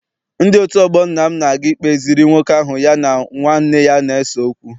Ndị otu ọgbọ nna m na-aga ikpeziri nwoke ahụ ya na nwanne ya na-ese okwu.